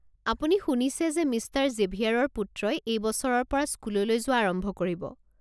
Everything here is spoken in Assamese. আপুনি শুনিছেনে যে মিষ্টাৰ জেভিয়াৰৰ পুত্ৰই এই বছৰৰ পৰা স্কুললৈ যোৱা আৰম্ভ কৰিব?